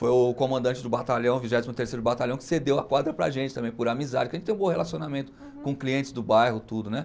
Foi o comandante do batalhão, vigésimo terceiro batalhão, que cedeu a quadra para a gente também, por amizade, porque a gente tem um bom relacionamento com clientes do bairro, tudo, né?